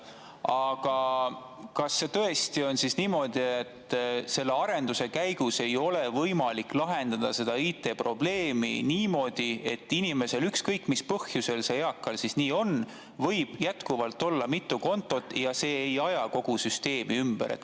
Aga kas tõesti on niimoodi, et selle arenduse käigus ei ole võimalik lahendada seda IT‑probleemi niimoodi, et inimesel – ükskõik mis põhjus eakal selleks on – võiks jätkuvalt olla mitu kontot ja see ei ajaks kogu süsteemi ümber?